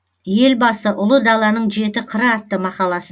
елбасы ұлы даланың жеті қыры атты мақаласы